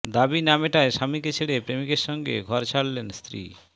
দাবি না মেটায় স্বামীকে ছেড়ে প্রেমিকের সঙ্গে ঘর ছাড়লেন স্ত্রী